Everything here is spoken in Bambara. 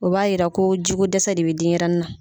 O b'a yira ko jiko dɛsɛ de bɛ denɲɛrɛnin na.